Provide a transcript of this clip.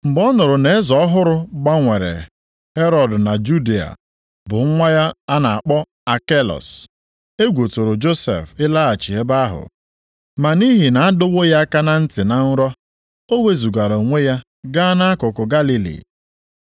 Mgbe ọ nụrụ na eze ọhụrụ gbanwere Herọd na Judịa bụ nwa ya a na-akpọ Akelus, + 2:22 Akelus Onye ketara ịchị otu ụzọ nʼụzọ atọ nʼalaeze Herọd. egwu tụrụ Josef ịlaghachi ebe ahụ. Ma nʼihi na adọwo ya aka na ntị na nrọ, ọ wezugara onwe ya gaa nʼakụkụ Galili.